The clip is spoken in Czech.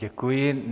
Děkuji.